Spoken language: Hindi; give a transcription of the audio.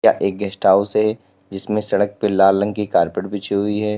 एक गेस्ट हाउस है जिसमें सड़क पे लाल रंग की कारपेट पीछे हुई है।